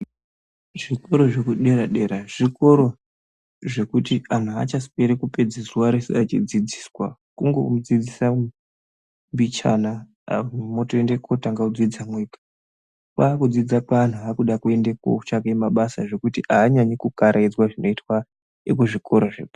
Zvikora zvekudera dera zvikoro zvekuti anhu aachasweri echipedze zuwa reshe eidzidziswa kungomudzidzisa mbichana aku motooende kotanga kudzidza mwega kwakudzidza kweantu akuda kuende kotsvake mabasa zvekuti anyanyi kukaraidzwa zvinoitwa zvepa.